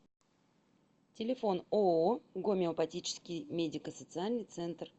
телефон ооо гомеопатический медико социальный центр